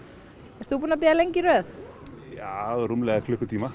ert þú búinn að bíða lengi í röð já rúmlega klukkutíma